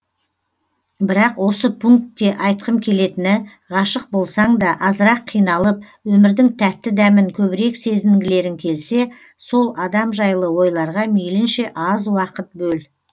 бірақ осы пункте айтқым келетіні ғашық болсаң да азырақ қиналып өмірдің тәтті дәмін көбірек сезінгілерің келсе сол адам жайлы ойларға мейлінше аз уақыт бөл